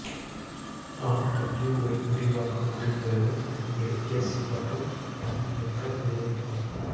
R W Y விரிவாக்கம் முடிந்ததும் I L S மற்றும் தன்னியக்கம் நிறுவப்படும்